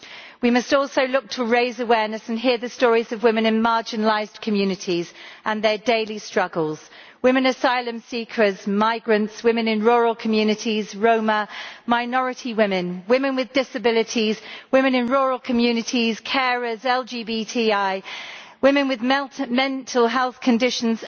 We must also look to raise awareness and hear the stories of women in marginalised communities and their daily struggles women asylum seekers, migrants, women in rural communities, Roma, minority women, women with disabilities, women in rural communities, carers, LGBTI, and women with mental health conditions.